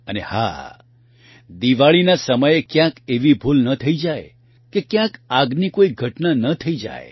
અને હા દિવાળીના સમયે ક્યાંક એવી ભૂલ ન થઇ જાય કે કયાંક આગની કોઇ ઘટના ન થઇ જાય